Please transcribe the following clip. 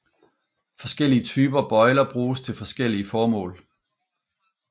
Forskellige typer bøjler bruges til forskellige formål